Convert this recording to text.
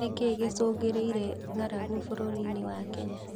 Nĩkĩĩ gĩcungĩrĩirie ng'aragu bũrũri wa Kenya?